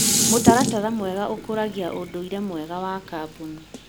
Mũtaratara mwega ũkũragia ũndũire mwega wa kambuni.